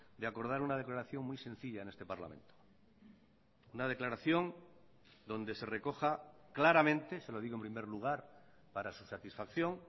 de acordar una declaración muy sencilla en este parlamento una declaración donde se recoja claramente se lo digo en primer lugar para su satisfacción